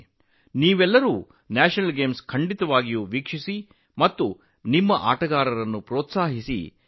ನೀವೆಲ್ಲರೂ ರಾಷ್ಟ್ರೀಯ ಕ್ರೀಡಾಕೂಟವನ್ನು ನೋಡಬೇಕು ಮತ್ತು ನಮ್ಮ ಆಟಗಾರರನ್ನು ಪ್ರೋತ್ಸಾಹಿಸಬೇಕು